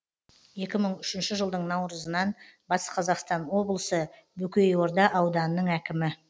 екі мың үшінші жылдың наурызынан батыс қазақстан облысы бөкейорда ауданының әкімі